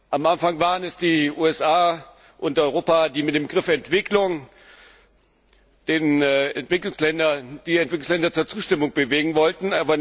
Am Anfang waren es die USA und Europa, die mit dem Begriff Entwicklung die Entwicklungsländer zur Zustimmung bewegen wollten.